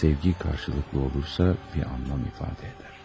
Sevgi qarşılıqlı olursa bir anlam ifadə edər.